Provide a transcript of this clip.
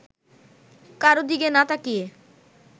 কারো দিকে না তাকিয়ে